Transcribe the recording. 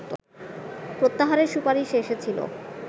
প্রত্যাহারের সুপারিশ এসেছিল